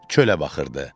Çölə baxırdı.